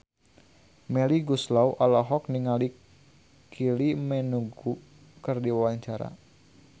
Melly Goeslaw olohok ningali Kylie Minogue keur diwawancara